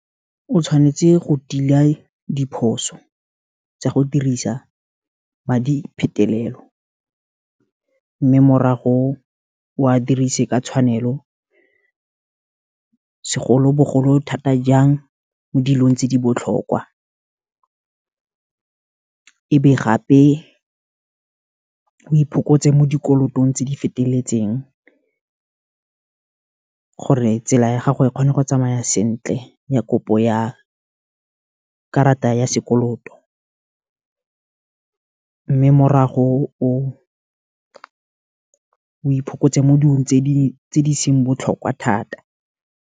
O tshwanetse go tila diphoso, tsa go dirisa madi phetelelo, mme morago wa dirise ka tshwanelo, segolobogolo thata jang mo dilong tse di botlhokwa, e be gape, o iphokotsa mo dikolotong tse di feteletseng, gore tsela ya gago e kgone go tsamaya sentle ya kopo ya karata ya sekoloto, mme morago o iphokotsa mo dilong tse di seng botlhokwa thata.